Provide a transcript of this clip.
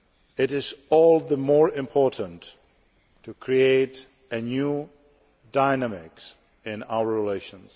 it is all the more important to create a new dynamic in our relations.